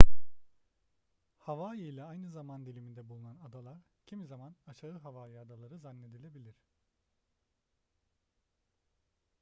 hawaii ile aynı zaman diliminde bulunan adalar kimi zaman aşağı hawaii adaları zannedilebilir